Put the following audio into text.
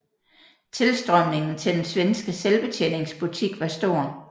Tilstrømningen til den svenske selvbetjeningsbutik var stor